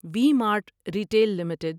we Mart Retail limited